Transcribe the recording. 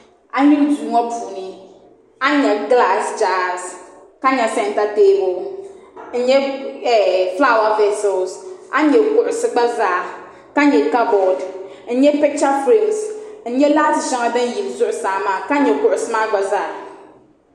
a lihi duu ŋɔ puuni a ni nyɛ gilaas jaas ka nyɛ sɛnta teebuli n nyɛ fulaawa veesils a ni nyɛ kuɣusi gba zaa ka nyɛ kabood n nyɛ picha firɛms n nyɛ laati shɛŋa din yili zuɣusaa maa ka nyɛ kuɣusi maa gba zaa